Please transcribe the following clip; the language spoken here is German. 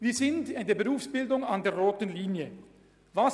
Wir haben in der Berufsbildung die rote Linie erreicht.